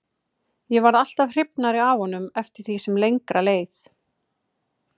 Ég varð alltaf hrifnari af honum eftir því sem lengra leið.